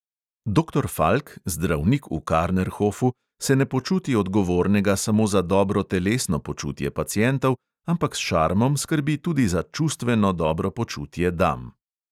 Doktor falk, zdravnik v karnerhofu, se ne počuti odgovornega samo za dobro telesno počutje pacientov, ampak s šarmom skrbi tudi za čustveno dobro počutje dam.